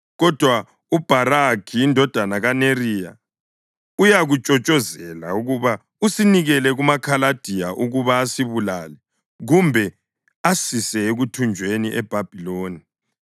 Kodwa uBharukhi indodana kaNeriya uyakutshotshozela ukuba usinikele kumaKhaladiya ukuba asibulale kumbe asise ekuthunjweni eBhabhiloni.”